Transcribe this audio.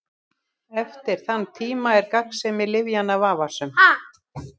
Eftir þann tíma er gagnsemi lyfjanna vafasöm.